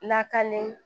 Lakani